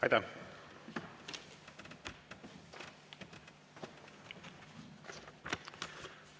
Aitäh!